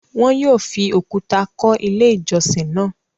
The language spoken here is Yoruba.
Wọn yóò fi òkúta kọ́ Ilé-ìjọsìn náà.